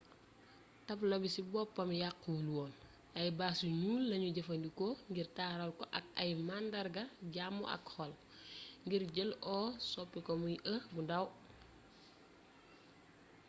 tablo bi ci boppam yàquwul woon ay bâche yu ñuul lañu jëfandikoo ngir taaral ko ak ay màndarga jàmm ak xol ngir jël o soppi ko muy e bu ndaw